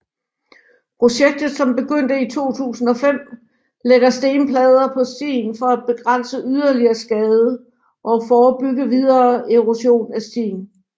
Projektet som begyndte i 2005 lægger stenplader på stien for at begrænse yderligere skade og forebygge videre erosion af stien